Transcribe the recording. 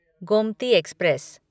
Gomti express